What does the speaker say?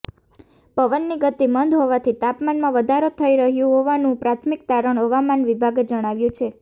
પવનની ગતિ મંદ હોવાથી તાપમાનમાં વધારો થઈ રહ્યું હોવાનું પ્રાથમિક તારણ હવામાન વિભાગે જણાવ્યું છે